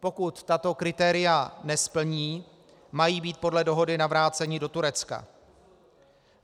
Pokud tato kritéria nesplní, mají být podle dohody navráceni do Turecka.